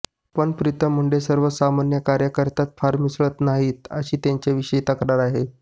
पण प्रीतम मुंडे सर्वसामान्य कार्यकर्त्यांत फार मिसळत नाहीत अशी त्यांच्याविषयी तक्रार आहे